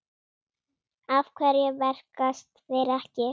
Af hverju verkast þeir ekki?